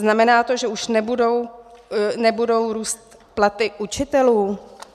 Znamená to, že už nebudou růst platy učitelů?